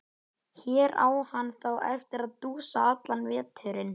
Í Þjóðviljanum var viðkvæðið líkt: Bretar þverbrjóta hlutleysi Íslands.